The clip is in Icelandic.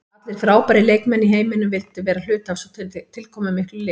Allir frábærir leikmenn í heiminum vildu vera hluti af svona tilkomumiklu liði.